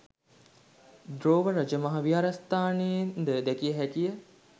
දෝව රජමහා විහාරස්ථානයෙන්ද දැකිය හැකිය